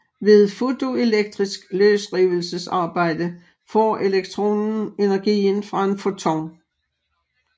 Ved fotoelektrisk løsrivelsesarbejde får elektronen energien fra en foton